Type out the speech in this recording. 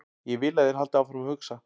Ég vil að þeir haldi áfram að hugsa.